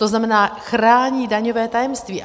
To znamená, chrání daňové tajemství.